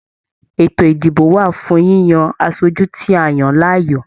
Eto ìdìbò wà fún yíyan aṣoju tí a yan láàyò.